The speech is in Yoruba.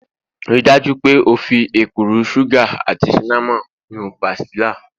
Rii daju pe o fi ekuru sugar ati cinnamon nu pastilla